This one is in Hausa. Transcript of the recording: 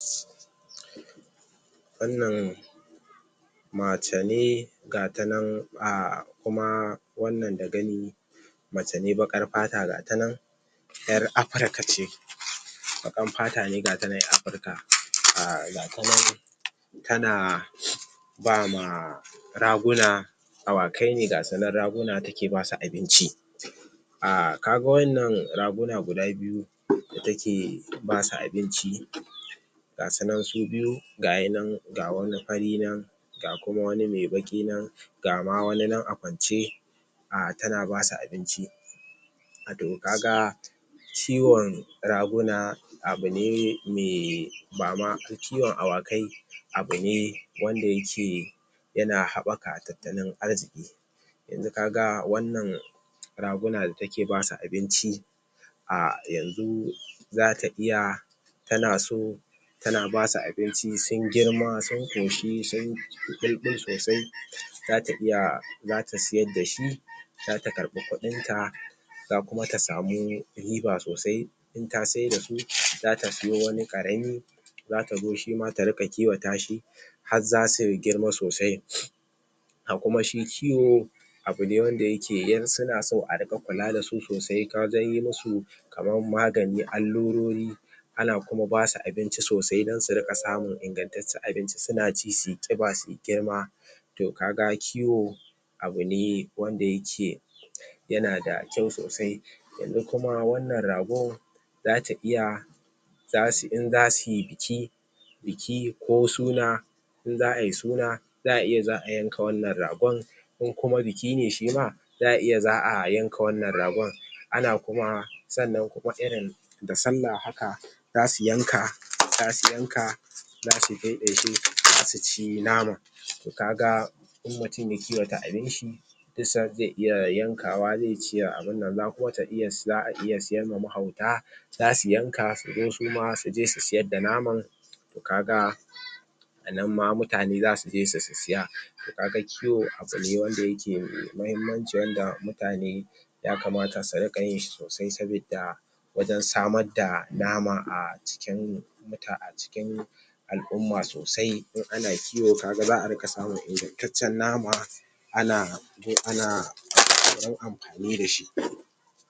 wannan macene gatanan a, kuma wannan da gani macene baƙar fata gatanan yar Africa ce baƙar fatane gatanan yar Africa um gatanan tana bama raguna awakai ne gasunan raguna tana basu abinci um kaga wayannan raguna guda biyu da take basu abinci ga sunan su biyu gahinan ga wani fari nan ga kuma wani me baki nan ga ma wani nan a kwance um tana basu abinci kaga ciwon raguna abune me bama kiwon awakai abune wanda yake yana haɓaka a talttalin arziki yanzu ka ga wannan raguna da take basu abinci um yanzu zata iya tana so tana basu abinci sun girma, sun koshi sunyi bulbul sosai zata iya zata siyar da shi zata karɓi kuɗinta za kuma ta samu riba sosai inta siyar dasu zata siyo wani karami zata zo shima ta rika kiwata shi har zasu girma sosai a kuma shi kiwao abune wanda yake suna so a rika kula dasu sosai ta wajan yi musu kaman magani, allurori ana kuma basu abinci sosai dan su rika samun ingantance abinci suna ci suyi kiba suyi girma to kaga kiwo abune wanda yake yanada kyau sosai yanzu kuma wannan ragon zata iya za suyi idan za suyi biki biki ko suna in za ayi suna za iya za ayanka wannan ragon kokuma bikine shima za iya za ayanka wannan ragon ana kuma sannnan kuma irin da sallah haka zasu yanka, zasu yanka zasu ɗaiɗaike zasu ci nama toh ka ga in mutum ya kiwata abinshi tun san ze iya yankawa ze iya ciyar abunnan, za kuma ta iya, za'a iya siyar ma mahauta zasu yanka su zo suma suje su siyar da naman toh kaga annan ma mutane zasu je su sisiya kaga kiwo abune wanda yake da muhimmanci wanda mutane yakamata su rika yin shi sosai sabida wajan samar da nama acikin acikin al'umma sosai in ana kiwo kaga za'a rika samun ingantacen nama ana ana amfani da shi.